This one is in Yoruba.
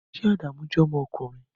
Ṣé Adamu jẹ́ ọmọkùnrin?